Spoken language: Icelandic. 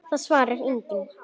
Það svarar enginn